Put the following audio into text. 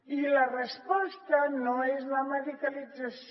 i la resposta no és la medicalització